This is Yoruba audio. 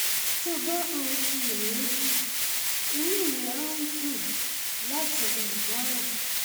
tó o bá ń um ṣiyèméjì inú mi á gùn láti um dáhùn